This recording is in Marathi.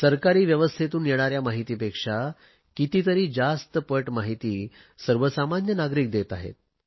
सरकारी व्यवस्थेतून येणाऱ्या माहितीपेक्षा कितीतरी जास्त पट माहिती सर्वसामान्य नागरिक देत आहे